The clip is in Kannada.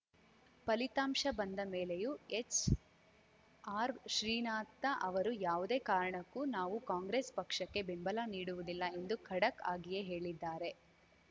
ಫಲಿತಾಂಶ ಬಂದ ಮೇಲೆಯೂ ಎಚ್‌ಆರ್‌ಶ್ರೀನಾಥ ಅವರು ಯಾವುದೇ ಕಾರಣಕ್ಕೂ ನಾವು ಕಾಂಗ್ರೆಸ್‌ ಪಕ್ಷಕ್ಕೆ ಬೆಂಬಲ ನೀಡುವುದಿಲ್ಲ ಎಂದು ಖಡಕ್‌ ಆಗಿಯೇ ಹೇಳಿದ್ದಾರೆ